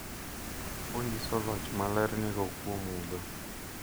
Onyiso loch ma ler nigo kuom mudho.